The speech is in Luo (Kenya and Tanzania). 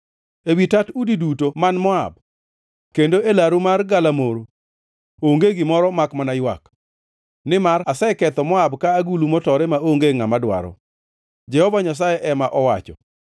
Ewi tat udi duto man Moab kendo e laru mar galamoro onge gimoro makmana ywak, nimar aseketho Moab ka agulu motore maonge ngʼama dwaro,” Jehova Nyasaye ema owacho.